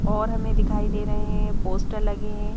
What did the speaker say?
और हमें दिखाई दे रहे हैं पोस्टर लगे है।